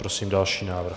Prosím další návrh.